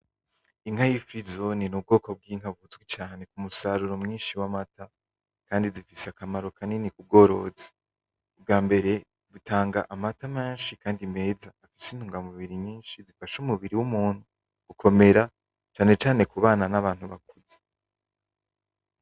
Inka yifirizone ninka izwi cane kumusaruro mwinshi wamata kandi zifise akamaro kanini kubworozi. Ubwambere zitanga amata menshi kandi meza afise intunga mubiri nyinshi zifasha umubiri wumuntu gukomera cane cane kubanta nabantu bakuze.